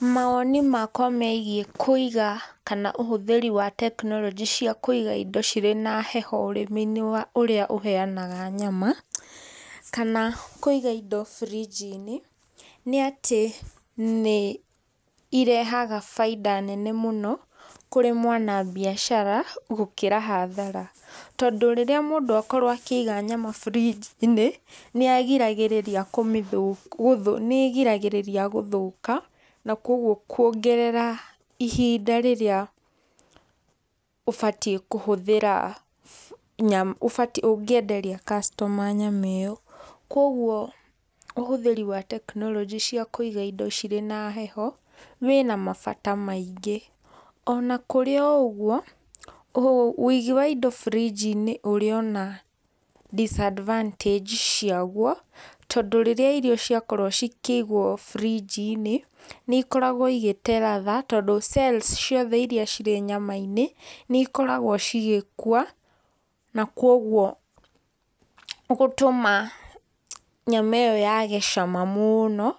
Mawoni makwa megiĩ kũiga kana ũhũthĩri wa tekinoronjĩ cia kũiga indo cirĩ na heho ũrĩmi-inĩ wa ũrĩa ũheanaga nyama, kana kũiga indo birinji-inĩ, nĩ atĩ nĩ irehaga bainda nene mũno kũrĩ mwanabiashara gũkĩra hathara, tondũ rĩrĩa mũndũ akorwo akĩiga nyama birinji-inĩ, nĩagĩragĩrĩria kũmĩthũkia nĩ ĩgiragĩrĩria gũthũka, na kogwo kuongerera ihinda rĩrĩa ũbatie kũhũthĩra ũbatie ũngĩenderia customer nyama ĩyo. Koguo ũhũthĩri wa tekinoronjĩ cia kũiga indo cirĩ na heho, wĩna mabata maingĩ. Ona kũrĩ o ũguo, wigi wa indo birinji-inĩ ũrĩ ona disadvantage ciaguo, tondũ rĩrĩa irio ciakorwo cikĩigwo brinji-inĩ, nĩ ikoragwo igĩte ladha, tondũ cells ciothe irĩa cirĩ nyama-inĩ, nĩ ikoragwo cigĩkua na kogwo gũtũma nyama ĩyo yage cama mũno,